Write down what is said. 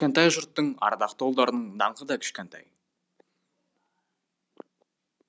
елі кішкентай жұрттың ардақты ұлдарының даңқы да кішкентай